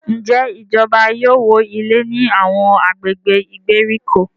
Njé ìjọba yóò wọ ilé ní Àwọn agbègbè ìgbèríko?